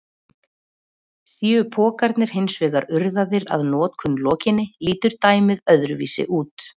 Séu pokarnir hins vegar urðaðir að notkun lokinni lítur dæmið öðruvísi út.